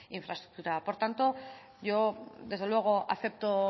infraestructura por tanto yo desde luego acepto